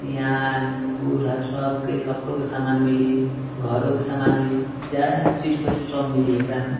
है सब के कपड़ो के सामन मिली घरो के सामान मिली जउन चीज खोजिहं सब मिली एकरा में।